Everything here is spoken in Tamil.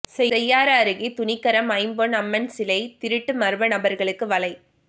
செய்யாறு அருகே துணிகரம் ஐம்பொன் அம்மன் சிலை திருட்டுமர்ம நபர்களுக்கு வலை